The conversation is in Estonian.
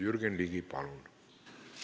Jürgen Ligi, palun!